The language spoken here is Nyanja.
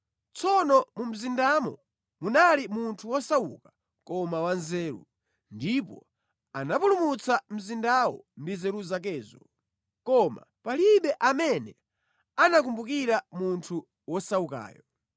Tsono mu mzindamo munali munthu wosauka koma wanzeru, ndipo anapulumutsa mzindawo ndi nzeru zakezo. Koma palibe amene anakumbukira munthu wosaukayo.